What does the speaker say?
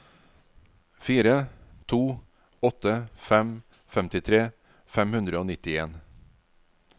fire to åtte fem femtitre fem hundre og nittien